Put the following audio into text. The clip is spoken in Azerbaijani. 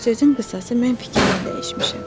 Sözün qısası mən fikrimi dəyişmişəm.